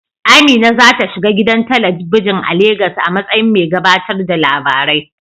Amina za ta shiga gidan talabijin a Legas a matsayin mai gabatar da labarai.